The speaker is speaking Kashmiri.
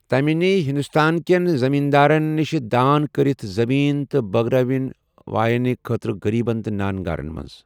تمہِ نی ہندوستان كین زمیندارن نِشہِ دان كرِتھ زمین تہٕ بٲگرٲوٕن واینہٕ خٲطرٕ غریبن تہٕ نانگارن منز ۔